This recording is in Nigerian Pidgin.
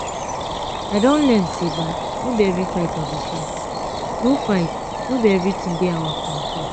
i don learn say no be every fight i go fight no fight no be everything dey our control